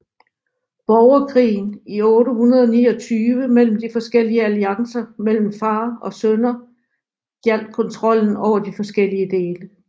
Borgerkrigen i 829 mellem de forskellige alliancer mellem far og sønner gjaldt kontrollen over de forskellige dele